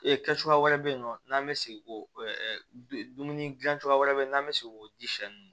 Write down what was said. Ee kɛ cogoya wɛrɛ bɛ yen nɔ n'an bɛ segin k'o dumuni dilan cogoya wɛrɛ n'an bɛ se k'o di shɛ